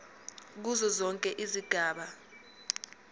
kuzo zonke izigaba